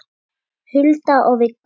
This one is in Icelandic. Hulda og Viggó.